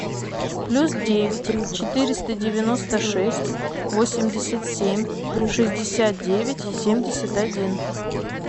плюс девять четыреста девяносто шесть восемьдесят семь шестьдесят девять семьдесят один